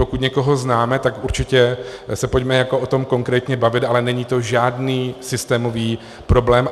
Pokud někoho známe, tak určitě se pojďme o tom konkrétně bavit, ale není to žádný systémový problém.